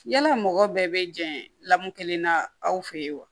Yala mɔgɔ bɛɛ bɛ jɛn lamu kelen na aw fɛ yen wa